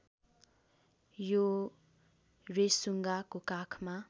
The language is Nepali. यो रेसुन्गाको काखमा